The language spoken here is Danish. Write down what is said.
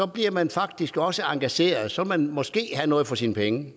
bliver man faktisk også engageret så vil man måske have noget for sine penge